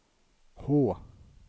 H